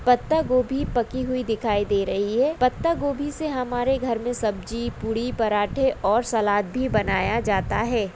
पत्ता गोबी पकी हुई दिखाई दे रहे है पत्ता गोबी से हमारे घर मे सब्जी पूरी और पराठे और सलाद भी बनाया जाता है।